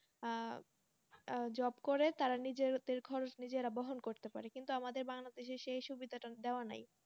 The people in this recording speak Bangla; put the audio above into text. আহ আহ Job করে তারা নিজেদের খরচ নিজেরা বহন করতে পারে কিন্তু আমাদের Bangladesh সেই সুবিধাটা দেওয়া নাই